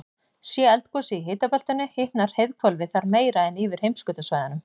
sé eldgosið í hitabeltinu hitnar heiðhvolfið þar meira en yfir heimskautasvæðunum